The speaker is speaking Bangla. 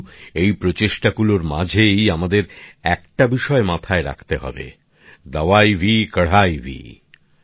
কিন্তু এই প্রচেষ্টাগুলির মাঝেই আমাদের একটা বিষয় মাথায় রাখতে হবে দাওয়াই ভি কড়াই ভি